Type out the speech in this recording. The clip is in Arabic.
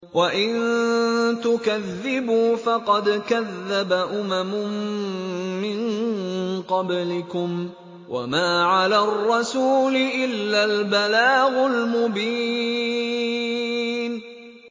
وَإِن تُكَذِّبُوا فَقَدْ كَذَّبَ أُمَمٌ مِّن قَبْلِكُمْ ۖ وَمَا عَلَى الرَّسُولِ إِلَّا الْبَلَاغُ الْمُبِينُ